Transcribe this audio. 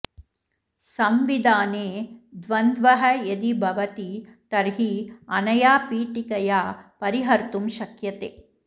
संविधाने द्वन्द्वः यदि भवति तर्हि अनया पीठिकया परिहर्तुं शक्यते